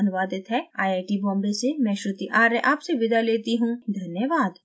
यह स्क्रिप्ट जया द्वारा अनुवादित है आई आई टी बॉम्बे से मैं श्रुति आर्य आपसे विदा लेती हूँ हमसे जुड़ने के लिए धन्यवाद